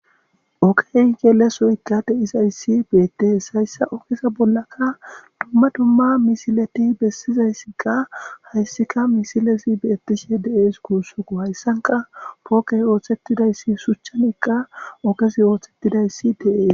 Okey geelesuykkade izayssi beettees hayssa okesa bollaka dumma dumma misileti bessizayssikka hayssika misilesi beettishe deees kuussuku hayssanka pookey ooththettidayssi shuchchanekka okesi ooththettidayssi de'ees.